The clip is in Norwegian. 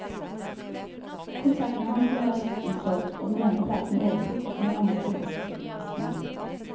Konsertene hans ble raskt utsolgt, og den ene platen overtok etter den andre på bestselgerlistene.